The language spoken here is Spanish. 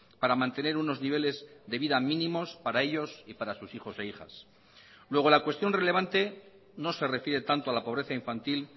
para mantener unos niveles de vida mínimos para ellos y para sus hijos e hijas luego la cuestión relevante no se refiere tanto a la pobreza infantil